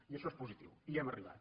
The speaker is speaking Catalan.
i això és positiu hi hem arribat